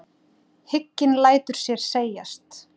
Hygginn lætur sér segjast.